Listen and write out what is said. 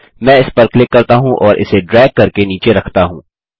मैं इस पर क्लिक करता हूँ और इसे ड्रैग करके नीचे रखता हूँ